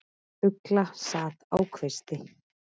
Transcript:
Ugla sat á kvisti.